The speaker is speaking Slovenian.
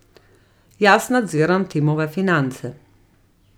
Jaz nadziram Timove finance.